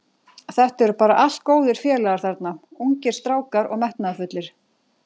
Þetta eru bara allt góðir félagar þarna, ungir strákar og metnaðarfullir.